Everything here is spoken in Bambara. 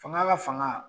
Fanga ka fanga